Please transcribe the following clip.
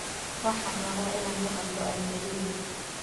Waxaan rabaa inaan la hadlo Anjelina